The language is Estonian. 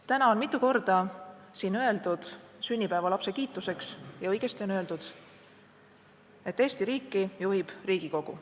Täna on siin juba mitu korda öeldud – ja õigesti on öeldud – sünnipäevalapse kiituseks, et Eesti riiki juhib Riigikogu.